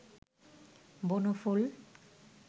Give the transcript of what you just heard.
বনফুল